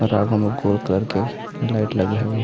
और अब हम गोल करके लाइट लगी हुई हैं।